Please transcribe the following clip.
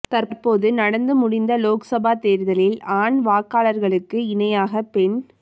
தற்போது நடந்து முடிந்த லோக்சபா தேர்தலில் ஆண் வாக்காளர்களுக்கு இணையாக பெண்